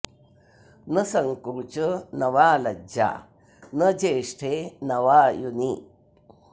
न संकोच न वा लज्जा न ज्येष्ठे न वा युनि